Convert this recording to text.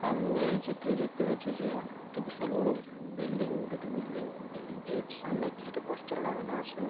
আমি এই চিত্রে দেখতে পাচ্ছি যে একটি বিশাল বড় বিল্ডিং দুটি বিল্ডিং বিল্ডিঙ -এর সামনে কিছুটা পোস্টার লাগানো আছে ।